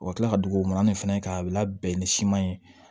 O ka kila ka d'u ma an de fɛnɛ ka a bɛ labɛn ni siman ye